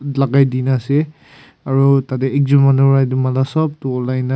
lakai dekena ase aro tate ekjun manu bra etu mala sop tu ulai na.